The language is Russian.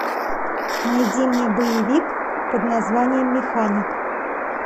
найди мне боевик под названием механик